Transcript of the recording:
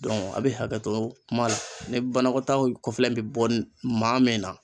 Dɔnku a bi hakɛto kuma la ni banakɔtaaw kɔfɛla in bi bɔ maa min na